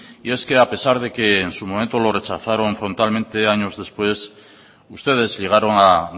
y es que a pesar de que en su momento lo rechazaron frontalmente años después ustedes llegaron a